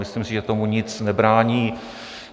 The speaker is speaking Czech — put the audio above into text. Myslím si, že tomu nic nebrání.